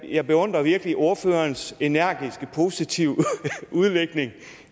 jeg beundrer virkelig ordførerens energiske og positive udlægning